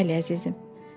Bəli, əzizim.